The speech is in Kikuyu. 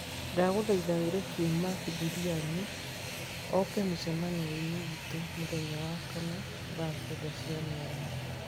Ndagũthaitha wĩre Kim Marc Juliani oke mũcemanio-inĩ witũ mũthenya wa wakana thaa kenda cia mĩaraho